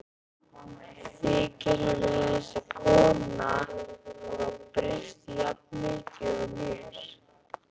Þykir henni þessi kona hafa breyst jafn mikið og mér?